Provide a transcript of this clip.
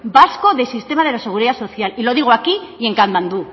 vasco del sistema de la seguridad social y lo digo aquí y en katmandú